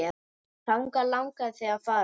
Þangað langaði þig að fara.